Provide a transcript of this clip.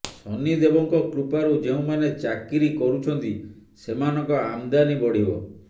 ଶାନିଦେବଙ୍କ କୃପାରୁ ଯେଉଁ ମାନେ ଚକିରି କରୁଛନ୍ତି ସେମାନଙ୍କ ଆମଦାନୀ ବଢିବ